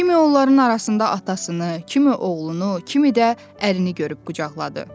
Kimi onların arasında atasını, kimi oğlunu, kimi də ərini görüb qucaqladı.